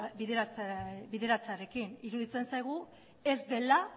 bideratzearekin iruditzen zaigu ez dela